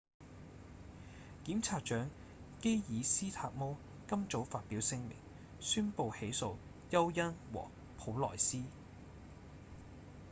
檢察長基爾‧斯塔摩今早發表聲明宣布起訴休恩和普萊斯